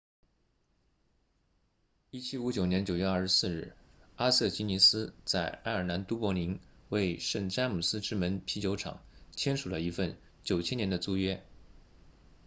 1759年9月24日阿瑟吉尼斯在爱尔兰都柏林为圣詹姆斯之门啤酒厂签署了一份9000年的租约